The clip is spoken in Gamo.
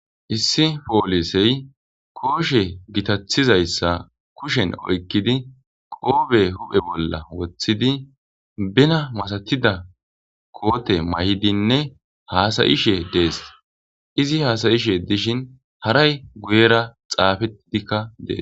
Issi poolisey kooshe gitathizayssa kushen oykkidi qoobe huphe bolla woththidi bena masatida koote may7idinne haasayishe dees izi haasayishe dishin haray guyera xaafetidikka dees.